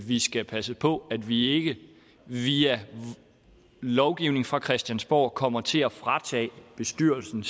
vi skal passe på at vi ikke via lovgivning fra christiansborg kommer til at fratage bestyrelsen